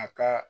A ka